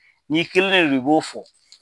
N'i kelen ne no i b'o fɔ.